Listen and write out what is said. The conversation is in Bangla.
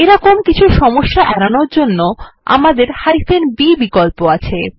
এই মতন কিছু সমস্যা এড়ানোর জন্য আমদের b বিকল্প আছে